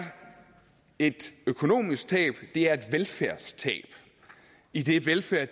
et økonomisk tab det er et velfærdstab idet velfærd